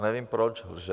A nevím, proč lže.